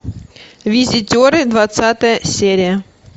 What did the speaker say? визитеры двадцатая серия